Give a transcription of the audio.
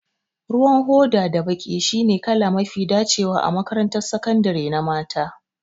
Ruwan hoda da baƙi shine kala mafi dacewa a makarantar sakandare na mata